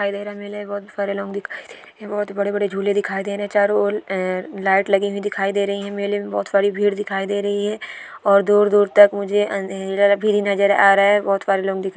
दिखाई दे रहा मेले में बहुत सारे लोग दिखाइ दे रहे बहुत बड़े बड़े झूले दिखाई दे रहे चारों ओर अ लाइट लगी हुई दिखाई दे रही मेले में बहुत सारी भीड़ दिखाई दे रही है और दूर दूर तक मुझे नजर आ रहा है बहुत सारे लोग --